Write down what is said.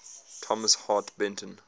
thomas hart benton